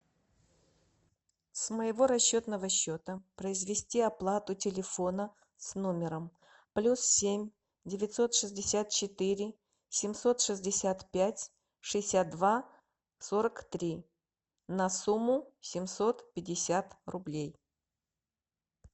с моего расчетного счета произвести оплату телефона с номером плюс семь девятьсот шестьдесят четыре семьсот шестьдесят пять шестьдесят два сорок три на сумму семьсот пятьдесят рублей